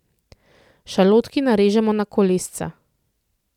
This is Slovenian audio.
Šalotki narežemo na kolesca.